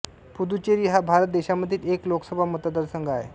पुडुचेरी हा भारत देशामधील एक लोकसभा मतदारसंघ आहे